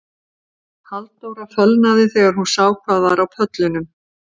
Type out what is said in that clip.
Halldóra fölnaði þegar hún sá hvað var á pöllunum